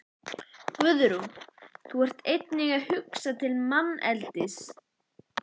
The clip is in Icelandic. Guðrún: Þú ert einnig að hugsa til manneldis?